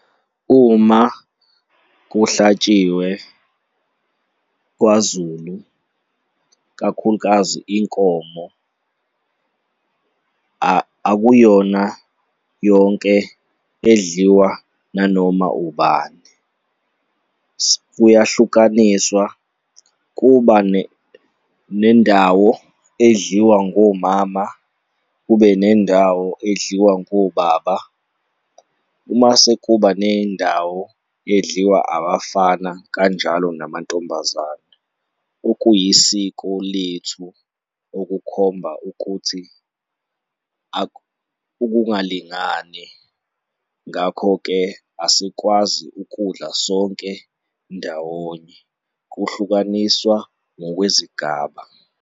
Uma kuhlatshiwe kwaZulu, kakhulukazi inkomo, akuyona yonke edliwa nanoma ubani. Kuyahlukaniswa, kuba nendawo edliwa ngomama, kube nendawo edliwa ngobaba, umase kuba nendawo edliwa abafana kanjalo namantombazane okuyisiko lethu okukhomba ukuthi ukungalingani. Ngakho-ke, asikwazi ukudla sonke ndawonye, kuhlukaniswa ngokwezigaba.